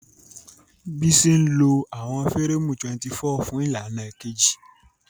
Bisi ń lo àwọn fẹ́rẹ́ẹ̀mù 24 fún ìlànà kejì.